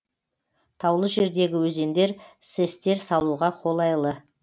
таулы жердегі өзендер сэс тер салуға қолайлы